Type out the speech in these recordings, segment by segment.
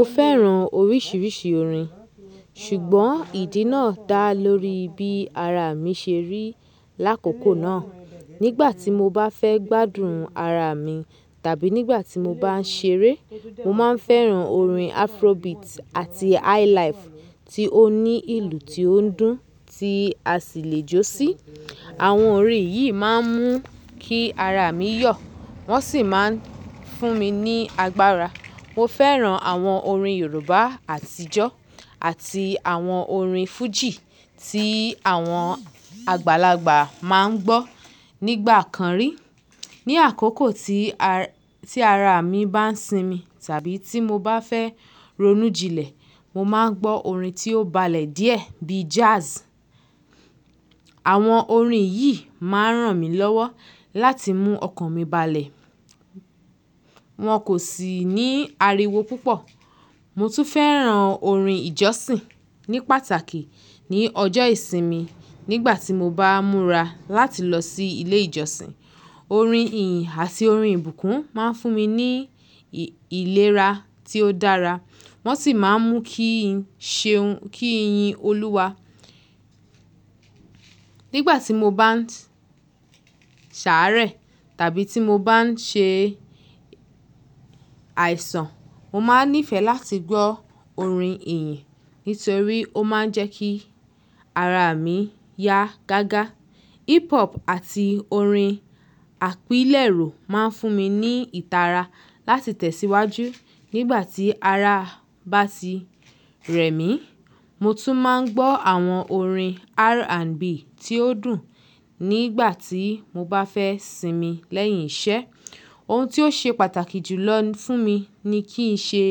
Mo fẹ́ràn oríṣiríṣi orin, ṣùgbọ́n ìdí náà dá lórí bí ara mi ṣe rí lákòókò náà. Nígbà tí mo bá fẹ́ gbádùn ara mi tàbí nígbà tí mo bá ń ṣeré, mo máa ń fẹ́ràn orin Afrobeat àti Highlife tí ó ní ìlù tí ó ń dùn tí a sì lè jó sí. Àwọn orin yìí máa ń mú kí ara mi yọ̀, wọ́n sì máa ń fún mi ní agbára. Mo fẹ́ràn àwọn orin Yorùbá àtijọ́ àti àwọn orin Fuji tí àwọn àgbàlagbà máa ń gbọ́ nígbà kan rí. Ni àkókò tí, tí ara mi bá ń sinmi tàbí tí mo bá fẹ́ ronú jinlẹ̀, mo máa ń gbọ́ orin tí ó balẹ̀ díẹ̀ bíi jazz. Àwọn orin yìí máa ń ràn mí lọ́wọ́ láti mú ọkàn mi balẹ̀. Wọn kò sì ní ariwo púpọ̀. Mo tún fẹ́ràn orin ìjọsìn ní pàtàkì ní ọjọ́ ìsinmi nígbà tí mo bá múra láti lọ sí ilé ìjọsìn. Orin ìyìn àti orin ìbùkún máa ń fún mi ní ìlera tí ó dára, wọ́n sì máa ń mú kí n ṣe, kí n yin Olúwa. Nígbà tí mo bá ń ṣàárẹ̀, tàbí tí mo bá ń ṣe àìsàn, mo máa ń nífẹ̀ẹ́ láti gbọ́ orin ìyìn nítorí ó máa ń jẹ́ kí ara mi yá gágá. Hip-hop àti orin àpilẹ̀rọ máa ń fún mi ní ìtara láti tẹ̀síwájú nígbà tí ara bá ti rẹ̀ mí. Mo tún máa ń gbọ́ àwọn orin R&B tí ó dùn nígbà tí mo bá fẹ́ sinmi lẹ́yìn iṣẹ́. Ohun tí ó ṣe pàtàkì jùlọ fún mi ni kíi ṣe,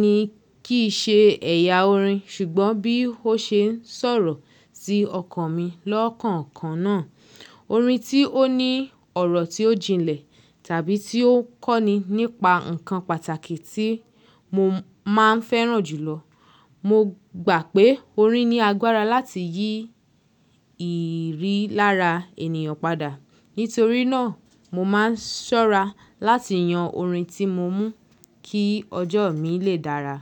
ni kíi ṣe ẹ̀yà orin ṣùgbọ́n bí ó ṣe sọ̀rọ̀ sí ọkàn mi lọ́kàn kan náà. Orin tí ó ní ọ̀rọ̀ tí ó jinlẹ̀ tàbí tí ó kọ́ni nípa nǹkan pàtàkì tí mo máa ń fẹ́ràn jù lọ. Mo gbà pé orin ní agbára láti yí ìrí lára ènìyàn padà. Nítorí náà, mo máa ń ṣọ́ra láti yan orin tí mó mú kí ọjọ́ mi lè dára.